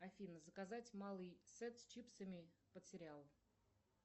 афина заказать малый сет с чипсами под сериал